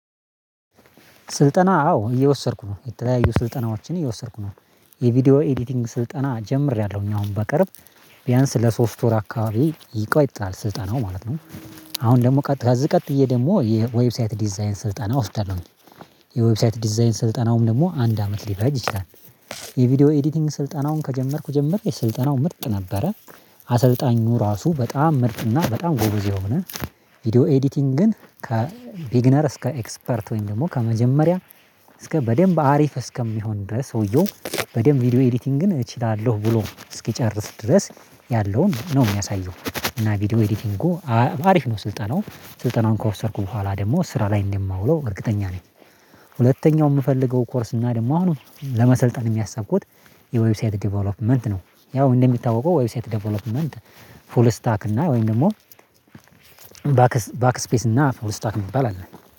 ስልጠና አዎ እየወሰድኩ ነው የተለያዩ ስልጠናዎችን እየወሰድኩ ነው። የቪዲዮ ኤዲቲንግ ስልጠና ጀምሬያለሁ እኛ አሁን በቅርብ ቢያንስ ለሶስት ወር አካባቢ ይቆያል ስልጠናው ማለት ነው። አሁን ደግሞ ከዚህ ቀጥዬ ደግሞ የዌብሳይት ዲዛይን ስልጠና ወስዳለሁኝ። የዌብሳይት ዲዛይን ስልጠናውም ደግሞ አንድ አመት ሊፈጅ ይችላል። የቪዲዮ ኤዲቲንግ ስልጠናውን ከጀመርኩ ጀምሬ የስልጠናው ምጥ ነበረ። አሰልጣኙ ራሱ በጣም ምርጥ እና በጣም ጎበዝ የሆነ ቪዲዮ ኤዲቲንግን ከቢግነር እስከ ኤክስፐርት ወይም ደግሞ ከመጀመሪያ እስከ በደንብ አሪፍ እስከሚሆን ድረስ ሰውየው በደንብ ቪዲዮ ኤዲቲንግን እችላለሁ ብሎ እስኪጨርስ ድረስ ያለውን ነው የሚያሳየው። እና ቪዲዮ ኤዲቲንጉ አሪፍ ነው ስልጠናው ስልጠናውን ከዘሰድኩ በኋላ ደግሞ ስራ ላይ እንደማውለው እርግጠኛ ነኝ። ሁለተኛው የምፈልገው ኮርስ እና ደግሞ አሁንም ለመሰልጠንም ያስብኩት የዌብሳይት ዴቨሎፕመንት ነው። ያው እንደሚታወቀው ዌብሳይት ዴቨሎፕመንት ፉል ስታክ እና ወይም ደግሞ ባክ ስፔስ እና ፉል ስታክ የሚባል አለ